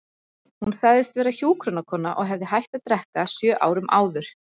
Hún sagðist vera hjúkrunarkona og hefði hætt að drekka sjö árum áður.